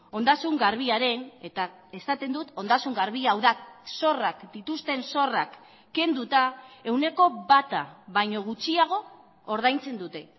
ondasun garbiaren eta esaten dut ondasun garbia hau da zorrak dituzten zorrak kenduta ehuneko bata baino gutxiago ordaintzen dute